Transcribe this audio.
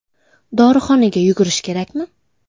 Dorixonaga yugurish kerakmi?